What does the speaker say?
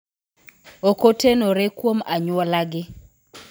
Ok otenore kuom anyuolagi.